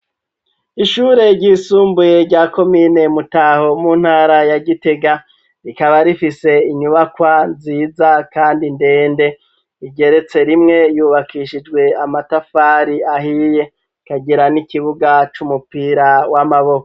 Ishure ry'isumbuye rya komine Mutaho mu ntara ya Gitega rikaba rifise inyubakwa nziza kandi ndende rigeretse rimwe yubakishijwe amatafari ahiye ikagira n'ikibuga c'umupira w'amaboko.